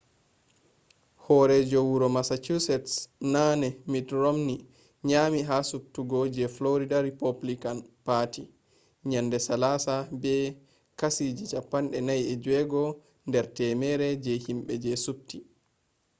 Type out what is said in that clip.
horeejo wuro massachusetts naane mitt romney nyami ha subtugo je florida rupublican parti yende salasa be kashi 46 der temere je himbe je subti